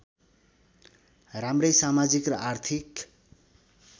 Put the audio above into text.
राम्रै समाजिक र आर्थिक